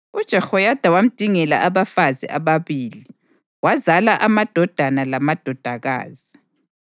UJehoyada wamdingela abafazi ababili, wazala amadodana lamadodakazi.